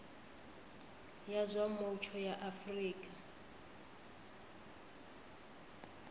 ya zwa mutsho ya afrika